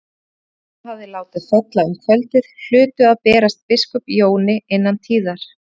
Orðin sem hann hafði látið falla um kvöldið hlutu að berast biskup Jóni innan tíðar.